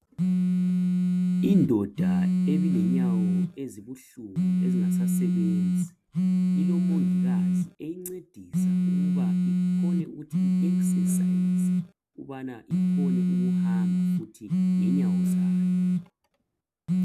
Indoda ebilenyawo ezibuhlungu ezingasasebenzi ilomongikazi eyincedisa ukuba ikhone uthi iesesayize ukubana ikhone ukuhamba futhi ngenyawo zayo